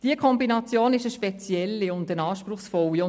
Diese Kombination ist eine besondere und auch eine anspruchsvolle.